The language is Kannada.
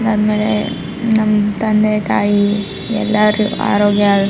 ನನ್ ಮೇಲೆ ನಮ್ ತಂದೆ ತಾಯಿ ಎಲ್ಲರೂ ಆರೋಗ್ಯ --